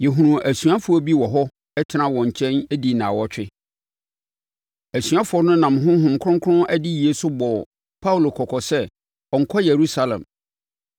Yɛhunuu asuafoɔ bi wɔ hɔ tenaa wɔn nkyɛn dii nnawɔtwe. Asuafoɔ no nam Honhom Kronkron adiyie so bɔɔ Paulo kɔkɔ sɛ ɔnnkɔ Yerusalem.